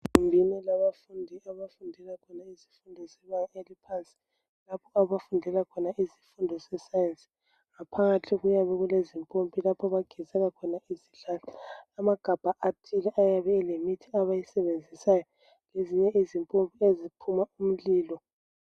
Egumbini labafundi abafundela khona izifundo zebanga eliphansi lapho abafundela khona izifundo ze Science. Ngaphakathi kuyabe kule zimpompi lapho abagezela khona izandla amagabha athile ayabe elemithi abayisebenzisayo lezinye izimpompi eziphuma umlilo